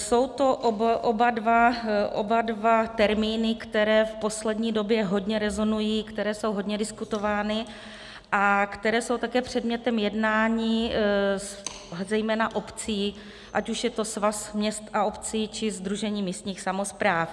Jsou to oba dva termíny, které v poslední době hodně rezonují, které jsou hodně diskutovány a které jsou také předmětem jednání zejména obcí, ať už je to Svaz měst a obcí, či Sdružení místních samospráv.